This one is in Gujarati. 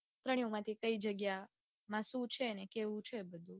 ત્રણેય માંથી કઈ જગ્યા માં શું છે ને કેવું છે બધું.